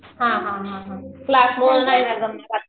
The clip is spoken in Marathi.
हां हां हां क्लासमुळं नाही ना जमणार.